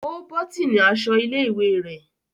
O botini aṣọ ilé-ìwé rẹ.